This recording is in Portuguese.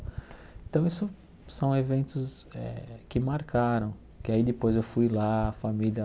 Então isso são eventos eh que marcaram, que aí depois eu fui lá, a família